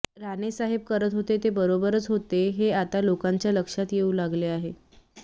राणे साहेब करत होते ते बरोबरच होते हे आता लोकांच्या लक्षात येवु लागले आहे